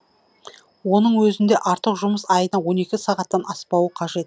оның өзінде артық жұмыс айына он екі сағаттан аспауы қажет